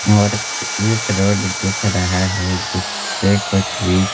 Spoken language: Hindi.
और एक रोड दिख रहा है जिस पे कुछ भी--